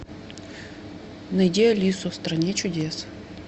найди алису в стране чудес